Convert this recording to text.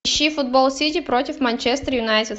ищи футбол сити против манчестер юнайтед